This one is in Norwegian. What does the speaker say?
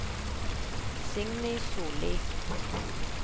Signy Sollie